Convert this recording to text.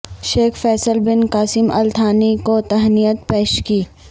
شیخ Faisal bin Qasim Al Thani کو تہنیت پیش کی